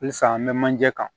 Halisa an bɛ manje kan